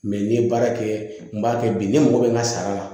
Mɛ n ye baara kɛ n b'a kɛ bi ne mago bɛ n ka sara la